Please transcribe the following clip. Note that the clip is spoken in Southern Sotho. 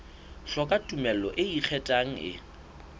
hloka tumello e ikgethang e